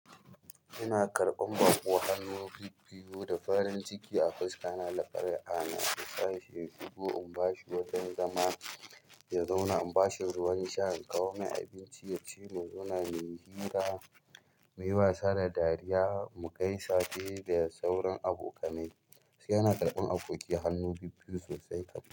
Ina karɓan baƙo hannu biyu-biyu da farin ciki a fuska, na lafarye ana sa shi sheki biyu in bashi wajan zama ya zauna. In bashi ruwan sha in kawo mai abinci ya ci mu zauna muyi hira, muyi wasa da dariya mu gaisa sai dai sauran abokanai. Yana karɓan aboki hannu biyu-biyu sosai kam.